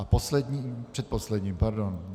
A posledním - předposledním, pardon.